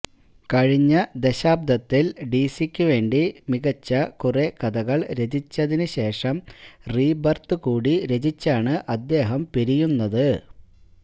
കഴിഞ്ഞ ദശാബ്ദത്തില് ഡിസിക്ക് വേണ്ടി മികച്ച കുറെ കഥകള് രചിച്ചതിന്ശേഷം റീബര്ത്ത് കൂടി രചിച്ചാണ് അദ്ദേഹം പിരിയുന്നത്